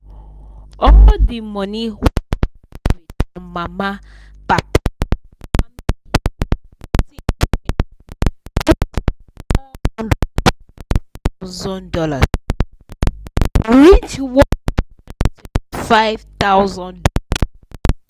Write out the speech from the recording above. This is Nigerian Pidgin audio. all the money wey dem inherit from mama papa and family people everything join um reach one hundred and twenty five thousand dollars um reach one hundred and twenty five thousand dollars